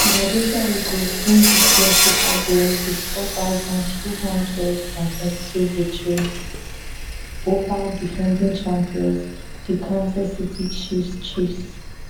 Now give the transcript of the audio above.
philadelphia eagles win dis year super bowl wit 4022 victory ova defending champions di kansas city chiefs chiefs